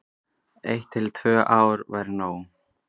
Eitt til tvö ár væri nóg.